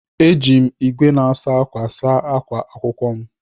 Éjị m ìgwè na-asa ákwà saa akwa akwụkwọ m.